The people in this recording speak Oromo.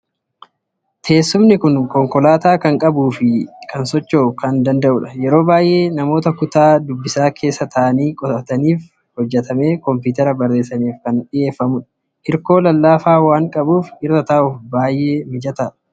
Teessumni kun konkolaataa kan qabuu fi socho'uu kan danda'udha. Yeroo baay'ee namoota kutaa dubbisaa keessa taa'anii qo'atanii fi hojjettoota kompiitaraan barreessaniif kan dhiyeeffamudha. Hirkoo lallaafaa waan qabuuf irra taa'uuf baay'ee mijataadha.